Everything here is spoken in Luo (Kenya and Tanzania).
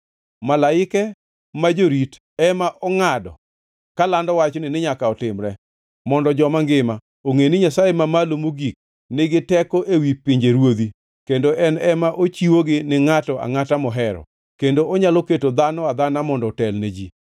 “ ‘Malaike ma jorit ema ongʼado kalando wachni ni nyaka otimre, mondo joma ngima ongʼe ni Nyasaye Mamalo Mogik nigi teko ewi pinjeruodhi, kendo en ema ochiwogi ni ngʼato angʼata mohero, kendo onyalo keto dhano adhana mondo otel ni ji.’